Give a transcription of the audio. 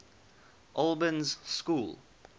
albans school